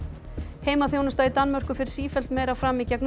heimaþjónusta í Danmörku fer sífellt meira fram í gegnum